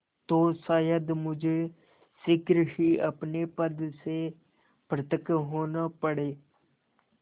तो शायद मुझे शीघ्र ही अपने पद से पृथक होना पड़े